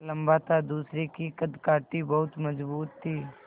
लम्बा था दूसरे की कदकाठी बहुत मज़बूत थी